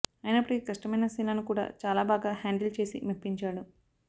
అయినప్పటికీ కష్టమైన సీన్లను కూడా చాలా బాగా హ్యాండిల్ చేసి మెప్పించాడు